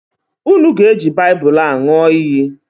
Unu ga-eji Baịbụlụ a ñụọ iyi!